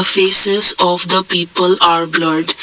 faces of the people are blurred.